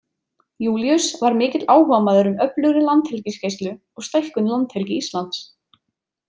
Júlíus var mikill áhugamaður um öflugri landhelgisgæslu og stækkun landhelgi Íslands.